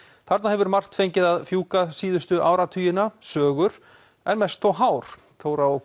þarna hefur margt fengið að fjúka síðustu áratugina sögur en mest þó hár Þóra og